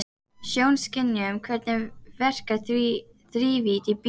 Sjónskynjun Hvernig verkar þrívídd í bíómyndum?